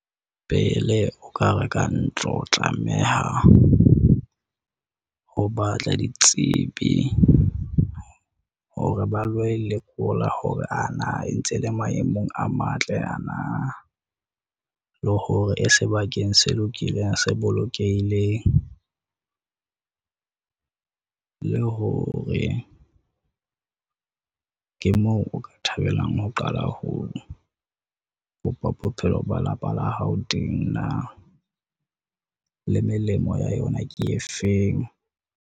Pele o ka reka ntlo, o tlameha ho batla ditsebi hore ba lo e lekola hore ana e ntse le maemong a matle. Ana le hore e sebakeng se lokileng, se bolokehileng, le hore ke moo o ka thabelang ho qala ho bopa bophelo ba lapa la hao teng na le melemo ya yona ke efeng?